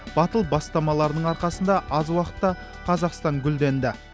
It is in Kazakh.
батыл бастамаларының арқасында аз уақытта қазақстан гүлденді